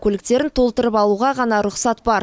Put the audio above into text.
көліктерін толтырып алуға ғана рұқсат бар